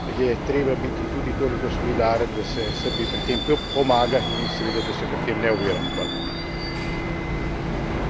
In mislim, da ravno ko govorimo o Srbiji, je treba biti tudi toliko solidaren, da se Srbiji pri tem pomaga in seveda da se je pri tem ne ovira.